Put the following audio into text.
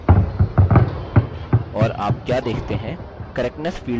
correctness field में दर्शाया जा रहा प्रतिशत घटता है